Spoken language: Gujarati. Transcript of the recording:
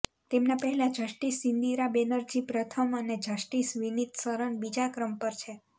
તેમના પહેલા જસ્ટિસ ઇન્દિરા બેનર્જી પ્રથમ અને જસ્ટિસ વીનિત સરન બીજા ક્રમ પર છે